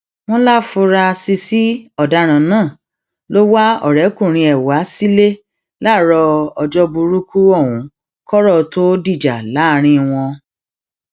wọn láforasísì ọdaràn náà ló wá ọrẹkùnrin ẹ wá sílẹ láàárọ ọjọ burúkú ohun kọrọ tóó dìjà láàrin wọn